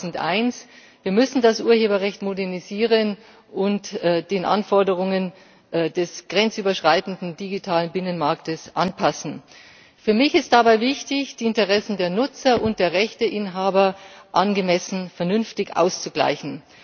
2001. Wir müssen das Urheberrecht modernisieren und an die Anforderungen des grenzüberschreitenden digitalen Binnenmarkts anpassen. Für mich ist dabei wichtig, die Interessen der Nutzer und der Rechteinhaber angemessen, vernünftig auszugleichen.